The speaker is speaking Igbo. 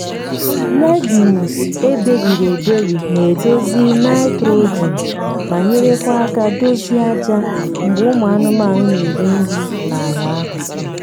legumes eberiri eberi na edozi nitrogen ma nyekwara aka dozie aja mgbe ụmụ anụmanụ na eri nri na ala ahu